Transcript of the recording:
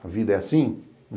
A vida é assim?